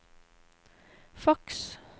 faks